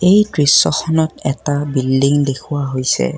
এই দৃশ্যখনত এটা বিল্ডিং দেখুওৱা হৈছে।